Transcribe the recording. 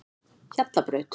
Hjallabraut